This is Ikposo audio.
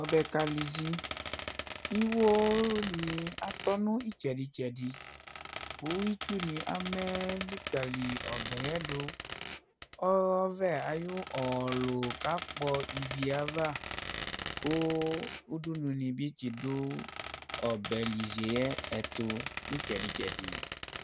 Ɔbɛka lizi Iwonibatɔ nitsɛdi tsɛdi kitsuni amɛ likali ɔbɛ yɛdu Ɔvɛ ayu ɔlu kakpɔ ɔbɛ ava Ku udunu dibi tidu ɔbɛlizi yɛtu nitsɛdi tsɛdi